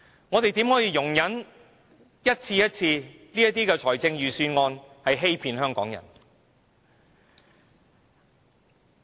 我們怎可以一次又一次的容忍預算案欺騙香港人？